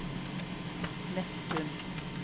Nesttun